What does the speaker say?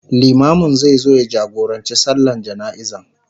limamin zai zo ya jagorancin sallan jana'iza